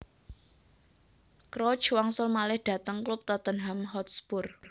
Crouch wangsul malih dhateng klub Tottenham Hotspur